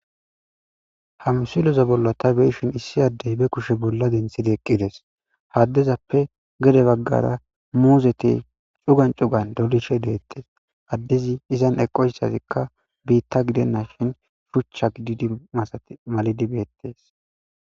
ha msilezaa bolla ta beyishin issi addey be kushe bolla denthidi eqqides ha adezappe gede baggara muuzeti cugan cugan dolishe deettes addizi izan eqo issazikka biitta gidennashin shuchcha gidi masati malidi beettees